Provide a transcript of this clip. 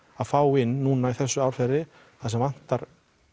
fá inn núna í þessu árferði þar sem vantar